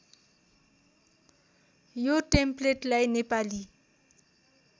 यो टेम्प्लेटलाई नेपाली